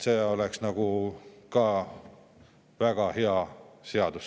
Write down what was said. See oleks siis küll väga hea seadus.